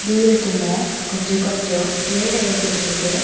தூரத்துல கொஞ்ச கொஞ்சம் வீடுங்க தெரியுது.